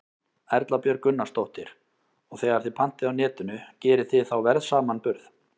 Erla Björg Gunnarsdóttir: Og þegar þið pantið á Netinu, gerið þið þá verðsamanburð?